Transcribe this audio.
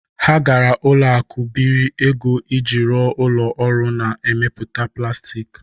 Ha gara ụlọ akụ biri ego iji rụọ ụlọ ọrụ na-emeputa plastik.